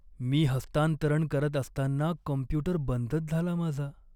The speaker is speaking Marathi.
मी हस्तांतरण करत असताना कॉम्प्यूटर बंदच झाला माझा.